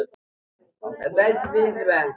Freymar, lækkaðu í hátalaranum.